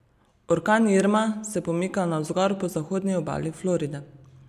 Orkan Irma se pomika navzgor po zahodni obali Floride.